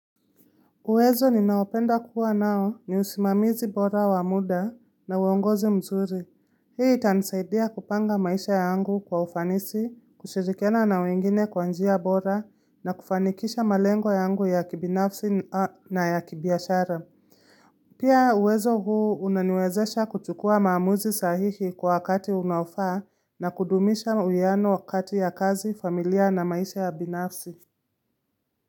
Uwezo ninaopenda kuwa nao ni usimamizi bora wa muda na uongozi mzuri. Hii itanisaidia kupanga maisha yangu kwa ufanisi, kushirikiana na wengine kwa njia bora na kufanikisha malengo yangu ya kibinafsi na ya kibiashara. Pia uwezo huu unaniwezesha kuchukua maamuzi sahihi kwa wakati unaofaa na kudumisha uiano wakati ya kazi, familia na maisha ya binafsi.